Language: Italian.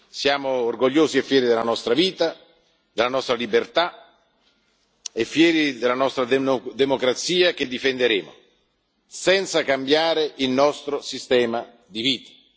Siamo orgogliosi e fieri della nostra vita, della nostra libertà e fieri della nostra democrazia, che difenderemo senza cambiare il nostro sistema di vita.